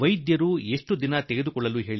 ವೈದ್ಯರು ಎಷ್ಟುದಿನ ತೆಗೆದುಕೊಂಡು